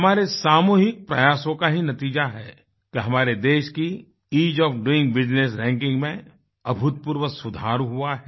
हमारे सामूहिक प्रयासों का ही नतीजा है कि हमारे देश की ईज़ ओएफ डोइंग बिजनेस rankingमें अभूतपूर्व सुधार हुआ है